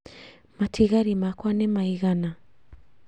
Matigari makwa nĩ maigana